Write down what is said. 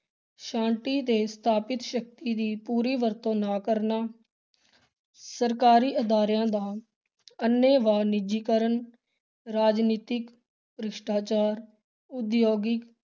ਛਾਂਟੀ ਤੇ ਸਥਾਪਿਤ ਸ਼ਕਤੀ ਦੀ ਪੂਰੀ ਵਰਤੋਂ ਨਾ ਕਰਨਾ ਸਰਕਾਰੀ ਅਦਾਰਿਆਂ ਦਾ ਅੰਨੇਵਾਹ ਨਿੱਜੀਕਰਨ, ਰਾਜਨੀਤਿਕ ਭ੍ਰਿਸ਼ਟਾਚਾਰ, ਉਦਯੋਗਿਕ